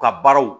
U ka baaraw